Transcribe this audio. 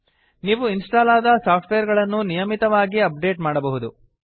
ನೀವು ಇನ್ಸ್ಟಾಲ್ ಆದ ಸಾಫ್ಟ್ವೇರ್ ಗಳನ್ನು ನಿಯಮಿತವಾಗಿಅಪ್ಡೇಟ್ ಮಾಡಬಹುದು